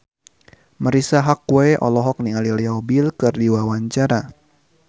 Marisa Haque olohok ningali Leo Bill keur diwawancara